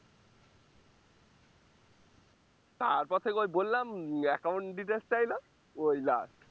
তারপর থেকে ওই বললাম উম accaount details চাইলো ওই last